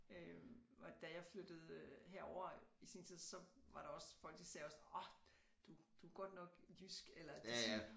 Øh og da jeg flyttede herover i sin tid så var der også folk de sagde også orh du du er godt nok jysk eller